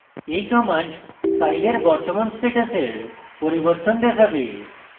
এই command files বর্তমান স্ট্যাটাসের পরিবর্তন দেখাবে